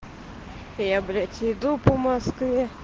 я блять иду по москве